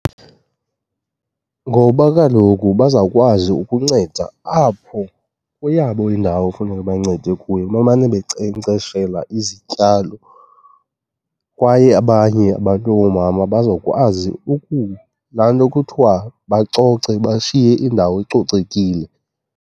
Ngoba kaloku bazawukwazi ukunceda apho kweyabo indawo efuneka bancede kuyo, bamane bankcenkceshela izityalo. Kwaye abanye abantu abangoomama bazokwazi laa nto kuthiwa bacoce, bashiye indawo icocekile.